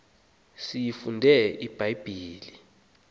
siyifunde ibha yibhile